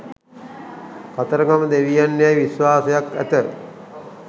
කතරගම දෙවියන් යැයි විශ්වාසයක් ඇත